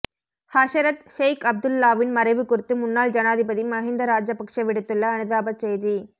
ஹஸரத் ஷெய்க் அப்துல்லாஹ்வின் மறைவு குறித்து முன்னாள் ஜனாதிபதி மஹிந்த ராஜபக்ஷ விடுத்துள்ள அனுதாபச் செய்தி